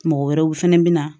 Mɔgɔ wɛrɛw fɛnɛ bi na